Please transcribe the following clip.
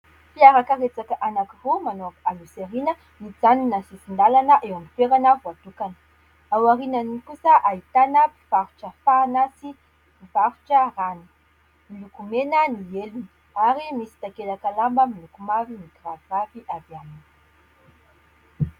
Fiarakaretsaka anankiroa manao aloha sy aoriana, mijanona amin'ny sisin-dalana, eo amin'ny toerana voatokana. Ao aoriany kosa ahitana mpivarotra fahana sy mpivarotra rano. Miloko mena ny elony ary misy takelaka lamba miloko mavo mikiraviravy avy aminy.